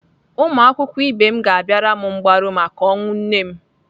Ụmụakwụkwọ ibe m ga-abịara m mgbaru maka ọnwụ nne m.